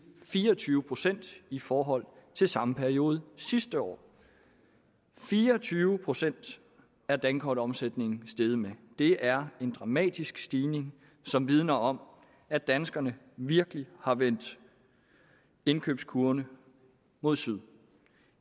fire og tyve procent i forhold til samme periode sidste år fire og tyve procent er dankortomsætningen steget med det er en dramatisk stigning som vidner om at danskerne virkelig har vendt indkøbskurven mod syd